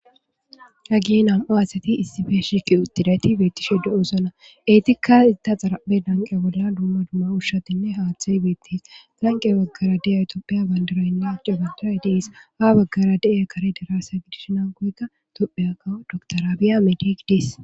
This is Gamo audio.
hagie nam7o asati issife shiqi uttidayti beettishe do7oosana eetikka itta xaraphe danqe bolla dumma dumma ushshatinne haaththay beettis danqe baggara de7e atooopiya bandiroynne acegantoay deis ha baggara de7e kare daraassa gidishna goyka topheya kawo doktoraabiya medigidis